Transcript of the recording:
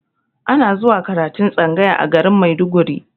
Ana zuwa karatun tsangaya a garin maiduguri